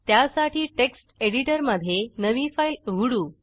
त्यासाठी टेक्स्ट एडिटरमधे नवी फाईल उघडू